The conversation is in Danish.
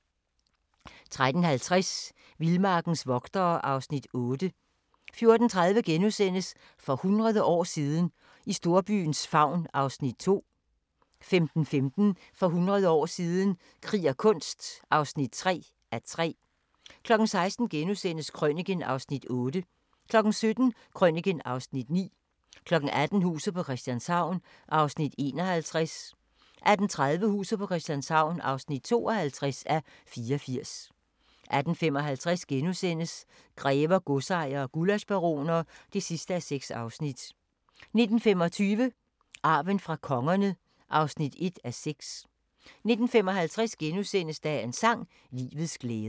13:50: Vildmarkens vogtere (Afs. 8) 14:30: For hundrede år siden – i storbyens favn (2:3)* 15:15: For hundrede år siden – krig og kunst (3:3) 16:00: Krøniken (Afs. 8)* 17:00: Krøniken (Afs. 9) 18:00: Huset på Christianshavn (51:84) 18:30: Huset på Christianshavn (52:84) 18:55: Grever, godsejere og gullaschbaroner (6:6)* 19:25: Arven fra kongerne (1:6) 19:55: Dagens sang: Livets glæder *